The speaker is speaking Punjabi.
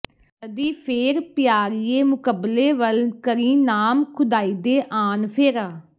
ਕਦੀ ਫੇਰ ਪਿਆਰੀਏ ਮੁਕਬਲੇ ਵੱਲ ਕਰੀਂ ਨਾਮ ਖ਼ੁਦਾਇਦੇ ਆਣ ਫੇਰਾ